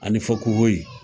A ni fakohoye